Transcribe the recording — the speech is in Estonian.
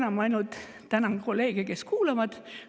Tänu ravimitele see on võimalik, aga elu ei ole teil sugugi lihtne.